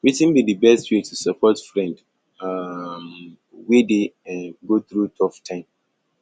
wetin be di best way to support friend um wey dey um go through tough time